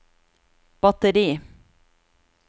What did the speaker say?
batteri